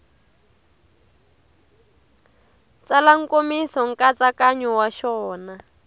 tsala nkomiso nkatsakanyo wa xona